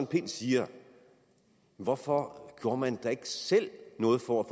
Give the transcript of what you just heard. pind siger hvorfor gjorde man så ikke selv noget for at